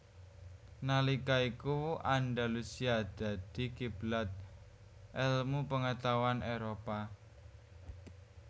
Nalika iku Andalusia dadi kiblat elmu pengetahuan Éropah